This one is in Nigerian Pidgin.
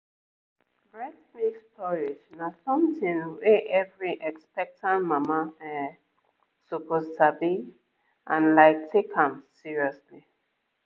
breast milk storage na something wey every expectant mama um suppose sabi and like take am seriously